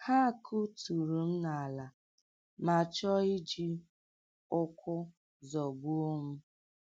Ha kụturu m n’ala, ma chọọ iji ụkwụ zọgbuo m.